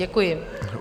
Děkuji.